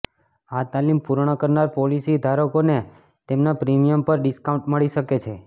આ તાલીમ પૂર્ણ કરનાર પોલિસી ધારકોને તેમના પ્રીમિયમ પર ડિસ્કાઉન્ટ મળી શકે છે